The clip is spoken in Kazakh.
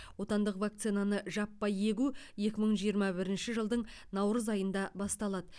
отандық вакцинаны жаппай егу екі мың жиырма бірінші жылдың наурыз айында басталады